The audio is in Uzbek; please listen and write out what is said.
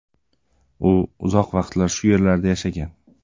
U uzoq vaqtlar shu yerlarda yashagan.